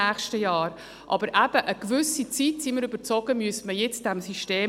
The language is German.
Aber eben: Eine gewisse Zeit müsste man diesem System jetzt einfach geben;